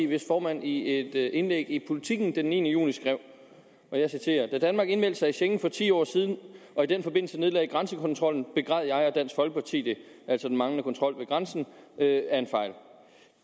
hvis formand i et indlæg i politiken den niende juni skrev da danmark indmeldte sig i schengen for ti år siden og i den forbindelse nedlagde grænsekontrollen begræd jeg og dansk folkeparti det at manglende kontrol ved grænsen er en fejl